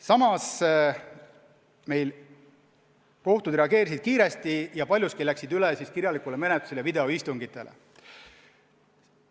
Samas kohtud reageerisid kiiresti ja läksid paljus üle kirjalikule menetlusele ja videoistungitele.